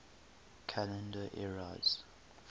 calendar eras